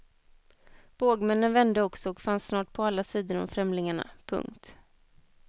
Bågmännen vände också och fanns snart på alla sidor om främlingarna. punkt